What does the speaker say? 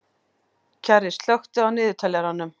Kjarri, slökktu á niðurteljaranum.